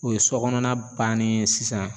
O ye sɔ kɔnɔna bannen ye sisan